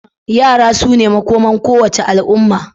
Yara su ne makomar kowace al'umma.